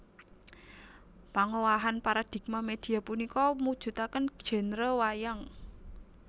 Pangowahan paradigma media punika mujudaken genre wayang